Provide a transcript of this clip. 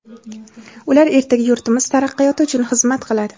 Ular ertaga yurtimiz taraqqiyoti uchun xizmat qiladi.